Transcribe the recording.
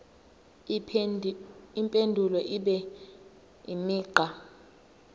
impendulo ibe imigqa